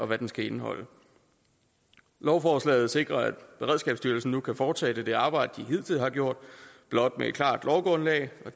hvad den skal indeholde lovforslaget sikrer at beredskabsstyrelsen kan fortsætte det arbejde som de hidtil har gjort blot på et klart lovgrundlag